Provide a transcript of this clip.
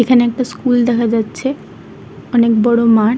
এখানে একটা স্কুল দেখা যাচ্ছে অনেক বড় মাঠ।